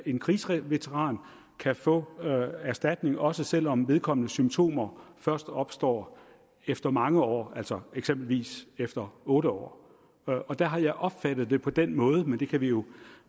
en krigsveteran kan få erstatning også selv om vedkommendes symptomer først opstår efter mange år altså eksempelvis efter otte år der har jeg opfattet det på den måde men det kan vi jo